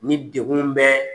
Ni degun bɛ